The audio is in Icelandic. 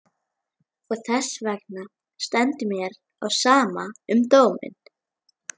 Og þessvegna stendur mér á sama um dóminn.